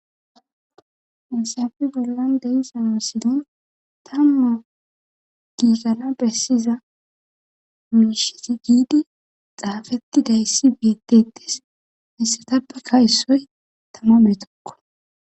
Ensafe bollan deysanoo silin tamma giirara bessiza mishit giidi xaafettidayssi bietetes missetappe kayssoy tama beetokko.